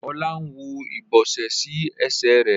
Ola ń wó ibọsẹ sí Ẹsẹ̀ rẹ.